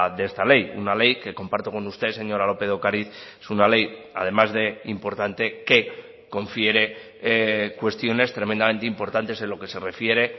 de esta ley una ley que comparto con usted señora lópez de ocariz es una ley además de importante que confiere cuestiones tremendamente importantes en lo que se refiere